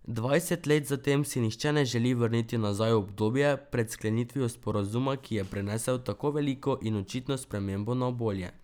Dvajset let zatem si nihče ne želi vrniti nazaj v obdobje pred sklenitvijo sporazuma, ki je prinesel tako veliko in očitno spremembo na bolje.